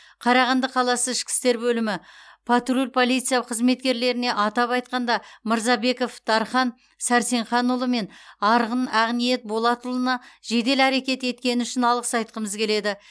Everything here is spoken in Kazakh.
қарағанды қаласы ішкі істер бөлімі патруль полиция қызметкерлеріне атап айтқанда мырзабеков дархан сәрсенханұлы мен арғын ақниет болатұлына жедел әрекет еткені үшін алғыс айтқымыз келеді